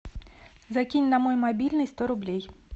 закинь на мой мобильный сто рублей